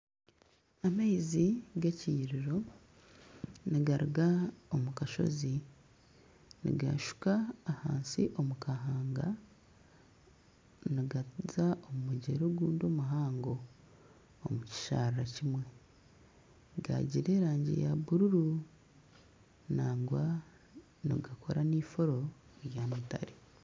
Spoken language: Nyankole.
Amaizi g'ekiyiriro nigaruga omu kashozi nigashuka ahansi omu kahanga nigaruga omu mugyera ogundi omuhango omu kisharaara kimwe gagira erangi ya buruuru nangwa nigakora nifuuro rya mutare.